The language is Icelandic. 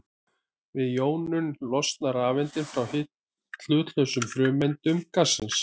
Við jónun losna rafeindir frá hlutlausum frumeindum gassins.